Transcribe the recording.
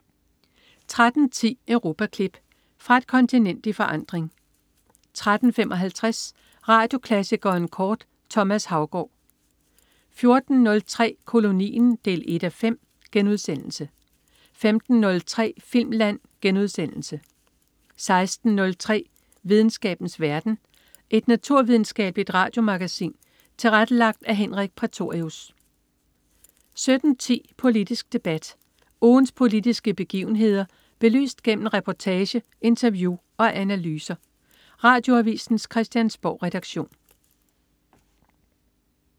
13.10 Europaklip. Fra et kontinent i forandring 13.55 Radioklassikeren kort. Thomas Haugaard 14.03 Kolonien 1:5* 15.03 Filmland* 16.03 Videnskabens verden. Et naturvidenskabeligt radiomagasin tilrettelagt af Henrik Prætorius 17.10 Politisk debat. Ugens politiske begivenheder belyst gennem reportage, interview og analyser. Radioavisens Christiansborgredaktion